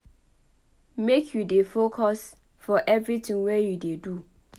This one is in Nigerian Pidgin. Make you dey focus for evertin wey you dey do.